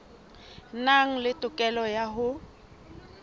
nang le tokelo ya ho